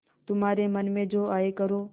तुम्हारे मन में जो आये करो